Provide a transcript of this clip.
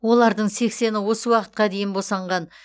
олардың сексені осы уақытқа дейін босанған